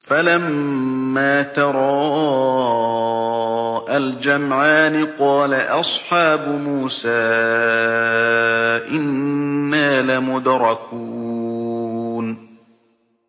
فَلَمَّا تَرَاءَى الْجَمْعَانِ قَالَ أَصْحَابُ مُوسَىٰ إِنَّا لَمُدْرَكُونَ